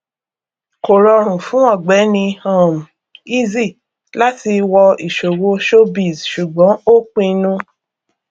kò rọrùn fún ọgbẹni um easy láti wọ ìṣòwò showbiz ṣùgbọn ó pinnu